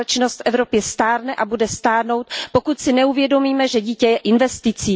Společnost Evropy stárne a bude stárnout, pokud si neuvědomíme, že dítě je investicí.